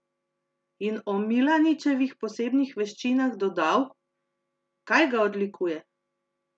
In o Milaničevih posebnih veščinah dodal: "Kaj ga odlikuje?